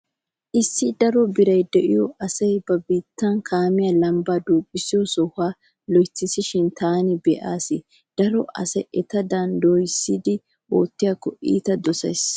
Issi daro biray diyo asay ba biittan kaamee lambbaa duuqissiyo soha loytissishin taani be'ays. Daro asay etadan dooyissidi oottiyakko iita dosees.